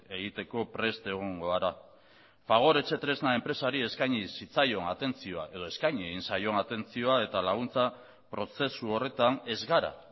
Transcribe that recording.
egiteko prest egongo gara fagor etxetresna enpresari eskaini zitzaion atentzioa edo eskaini egin zaion atentzioa eta laguntza prozesu horretan ez gara